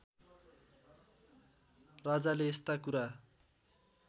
राजाले यस्ता कुरा